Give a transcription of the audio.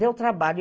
Deu trabalho.